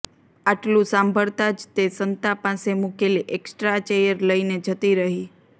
આટલું સાંભળતા જ તે સંતા પાસે મુકેલી એક્સ્ટ્રા ચેયર લઈને જતી રહી